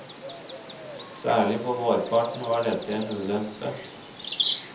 Særlig på vårparten var dette en ulempe.